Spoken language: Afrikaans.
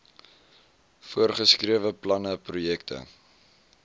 voorgeskrewe planne projekte